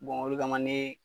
o de ka na ne